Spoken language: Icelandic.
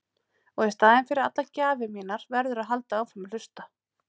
Og í staðinn fyrir allar gjafir mínar verðurðu að halda áfram að hlusta.